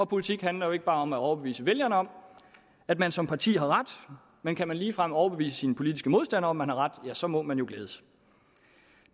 politik handler jo ikke bare om at overbevise vælgerne om at man som parti har ret men kan man ligefrem overbevise sine politiske modstandere man har ret ja så må man jo glædes